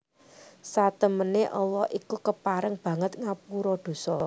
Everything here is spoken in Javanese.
Satemene Allah itu kapareng banget ngapura dosa